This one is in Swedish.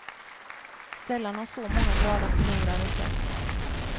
Sällan har så många glada förlorare setts.